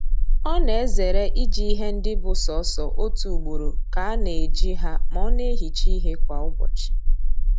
Ọ na-ezere iji ihe ndị bụ sọọsọ otu ugboro ka a na eji ha ma ọ na-ehicha ihe kwa ụbọchị